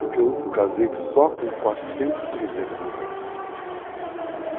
Porque eu casei só com 400 cruzeiros no bolso.